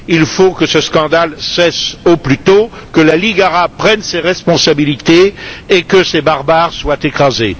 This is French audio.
Il faut que ce scandale cesse au plus tôt, que la Ligue arabe prenne ses responsabilités et que ces barbares soient écrasés.